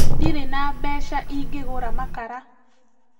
Ndirĩ na mbeca ingĩgũra makara